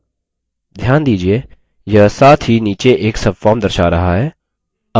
ध्यान दीजिये यह साथ ही नीचे एक subform दर्शा रहा है